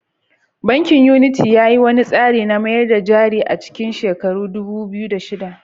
Bankin Unity ya yi wani tsari na mayar da jari a cikin shekarar dubu biyu da shida.